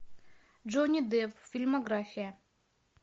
джонни депп фильмография